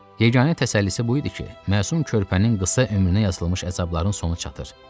Yeganə təsəllisi bu idi ki, məsum körpənin qısa ömrünə yazılmış əzabların sonu çatır.